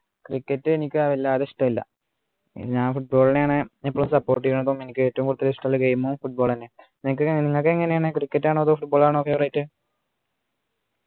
cricket എനിക്ക് വല്ലാതെ ഇഷ്ടമില്ല ഞാൻ football നെയാണ് ഇപ്പൊ support ചെയ്യണ പ്പോ ഏറ്റവും കൂടുതൽ ഇഷ്ടുള്ള game ഉം football എന്നെ നിങ്ങക്ക് നിങ്ങക്ക് എങ്ങനെയാണു cricket ആണോ അതോ football ആണോ favourite